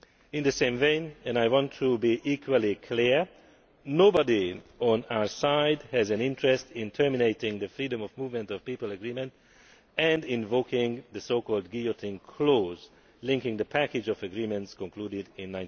In the same vein, and I want to be equally clear, nobody on our side has an interest in terminating the Freedom of Movement of People Agreement and invoking the so called guillotine clause linking the package of agreements concluded in